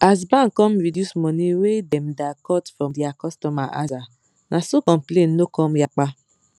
as bank come reduce money wey dem da cut from dia cutomer aza na so complain no come yapa